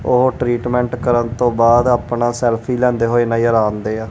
ਉਹ ਟਰੀਟਮੈਂਟ ਕਰਨ ਤੋਂ ਬਾਅਦ ਆਪਣਾ ਸੈਲਫੀ ਲੈਂਦੇ ਹੋਏ ਨਜ਼ਰ ਆਉਂਦੇ ਆ।